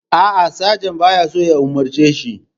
A'a, sajan ba ya so ya umarce shi.